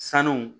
Sanu